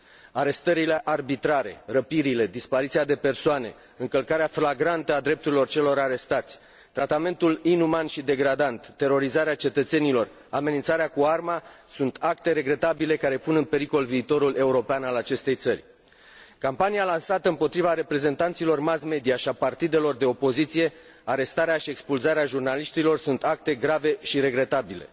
Arestările arbitrare, răpirile, dispariția de persoane, încălcarea flagrantă a drepturilor celor arestați, tratamentul inuman și degradant, terorizarea cetățenilor, amenințarea cu arma sunt acte regretabile care pun în pericol viitorul european al acestei țări. Campania lansată împotriva reprezentanților mass media și a partidelor de opoziție, arestarea și expulzarea jurnaliștilor sunt acte grave și regretabile.